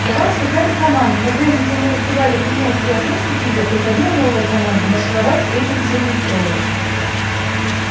давалась какая-то команда но прежде чем мы успевали принять и осмыслить её приходила новая команда маршировать этим чудным строем